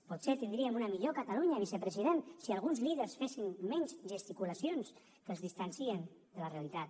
potser tindríem una millor catalunya vicepresident si alguns líders fessin menys gesticulacions que els distancien de la realitat